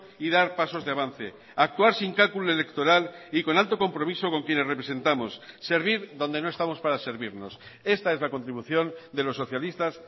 y dar pasos de avance actuar sin cálculo electoral y con alto compromiso con quienes representamos servir donde no estamos para servirnos esta es la contribución de los socialistas